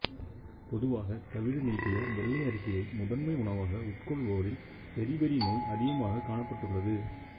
பொதுவாக தவிடு நீக்கிய வெள்ளை அரிசியை முதன்மை உணவாக உட்கொள்வோரில் பெரிபெரி நோய் அதிகமாகக் காணப்பட்டுள்ளது